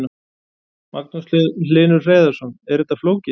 Magnús Hlynur Hreiðarsson: Er þetta flókið?